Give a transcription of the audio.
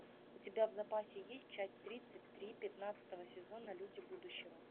у тебя в запасе есть часть тридцать три пятнадцатого сезона люди будущего